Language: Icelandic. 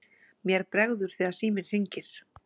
Mér bregður þegar síminn hringir.